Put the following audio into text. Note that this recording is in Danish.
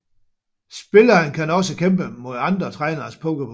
Spilleren kan også kæmpe mod andre Træneres Pokémon